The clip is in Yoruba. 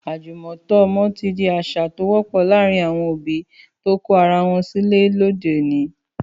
Àjùmọ̀tọ́ ọmọ ti di àṣà tó wọ́pọ̀ láàárín àwọn òbí tó kọ ara wọn sílẹ̀ ní òde òní.